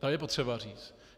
To je potřeba říct.